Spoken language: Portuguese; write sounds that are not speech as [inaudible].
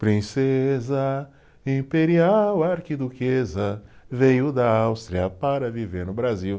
[sings] Princesa, imperial arquiduquesa, veio da Áustria para viver no Brasil.